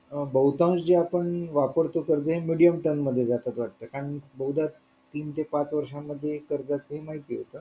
बहुतांश जे आपण वापरतो कर्ज हे medium term मध्ये जात वाटतं कारण बहुकाळ तीन ते पाच वर्षांमध्ये कर्ज असते हे माहिती आहे का